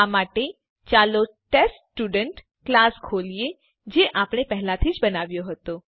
આ માટે ચાલો ટેસ્ટસ્ટુડન્ટ ક્લાસ ખોલીએ જે આપણે પહેલાથી જ બનાવ્યો હતો